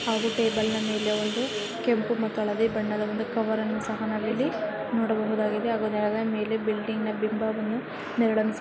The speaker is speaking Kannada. ಹಾಗೂ ಟೇಬಲ್ ನ ಮೇಲೆ ಒಂದು ಕೆಂಪು ಮತ್ತು ಹಳದಿ ಬಣ್ಣದ ಒಂದು ಕವರನ್ನು ಸಹ ನಾವು ಇಲ್ಲಿ ನೋಡಬಹುದಾಗಿದೆ ಹಾಗು ನೆಲದ ಮೇಲೆ ಬಿಲ್ಡಿಂಗ್ ನ ಬಿಂಬವನ್ನು ನೆರಳನ್ನು ಸ --